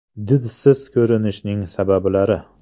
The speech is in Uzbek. Didsiz ko‘rinishning sabablari.